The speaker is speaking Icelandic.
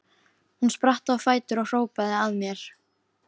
Hún spratt á fætur og hrópaði að mér: